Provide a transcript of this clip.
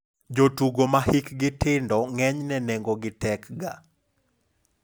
Jotugo ma hikgi tindo ng'enyne nengo gi tek ga.